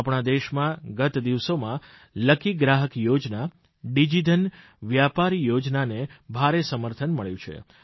આપણા દેશમાં ગત દિવસોમાં લકી ગ્રાહક યોજના ડીજીધન વ્યાપાર યોજનાને ભારે સમર્થન મળ્યું છે